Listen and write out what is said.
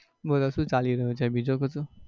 બોલો શું ચાલી રહ્યું છે બીજું બધું?